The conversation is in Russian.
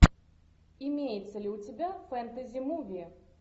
имеется ли у тебя фэнтези муви